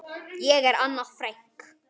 Ég er Anna Frank.